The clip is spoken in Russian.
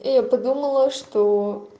я подумала что